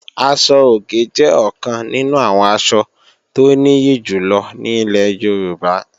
Aṣọ-òkè jẹ́ ọ̀kan nínú àwọn asọ tó nìyí jù lọ ní ilẹ̀ Yorùbá